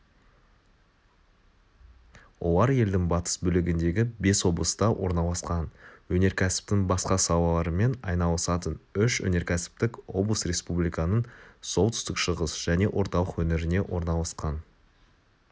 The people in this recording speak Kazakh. олар елдің батыс бөлігіндегі бес облыста орналасқан өнеркәсіптің басқа салаларымен айналысатын үш өнеркәсіптік облыс республиканың солтүстік-шығыс және орталық өңіріне орналасқан